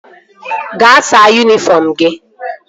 Gaa saa yunifọm gị!